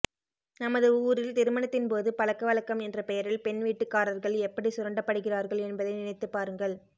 நமது ஊரில் திருமணத்தின் போது பழக்க வழக்கம் என்ற பெயரில் பெண் வீட்டுக்காரர்கள் எப்படி சுரண்டப்படுகிறார்கள் என்பதை நினைத்துப் பாருங்கள்